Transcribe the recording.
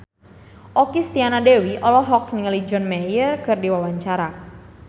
Okky Setiana Dewi olohok ningali John Mayer keur diwawancara